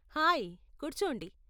Hi, కూర్చోండి.